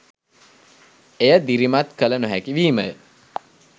එය දිරිමත් කළ නොහැකි වීමය.